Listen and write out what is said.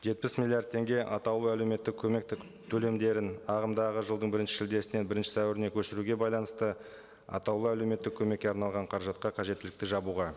жетпіс миллиард теңге атаулы әлеуметтік көмектік төлемдерін ағымдағы жылдың бірінші шілдесінен бірінші сәуіріне көшіруге байланысты атаулы әлеуметтік көмекке арналған қаражатқа қажеттілікті жабуға